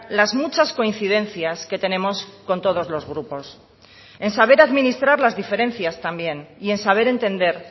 las muchas coincidencias que tenemos con todos los grupos en saber administrar las diferencias también y en saber entender